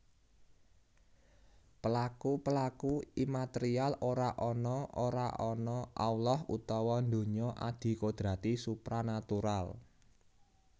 Pelaku pelaku immaterial ora ana ora ana Allah utawa donya adikodrati supranatural